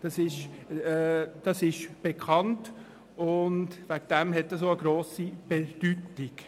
Das Thema ist bekannt und deshalb auch von grosser Bedeutung.